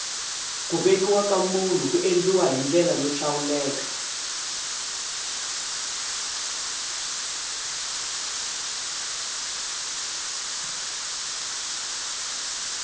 ku vekiwa ka munhu ku endliwa hi ndlela yo hlawuleka